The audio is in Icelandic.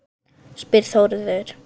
spyr Þórður